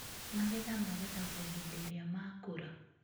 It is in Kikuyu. Magetha magethagwo hĩndĩ ĩrĩa makũra.